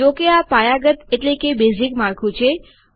જો કે આ પાયાગત એટલે કે બેઝીક માળખું છે